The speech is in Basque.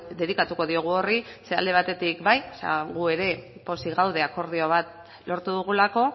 dedikatuko diogu horri ze alde batetik bai gu ere pozik gaude akordio bat lortu dugulako